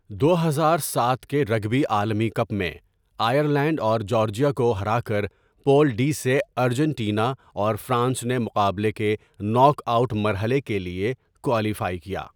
دو ہزار سات کے رگبی عالمی کپ میں، آئر لینڈ اور جارجیا کو ہراکر پول ڈی سے ارجنٹینا اور فرانس نے مقابلے کے ناک آوٴٹ مرحلے کے لیے کوالیفائی کیا۔